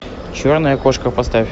черная кошка поставь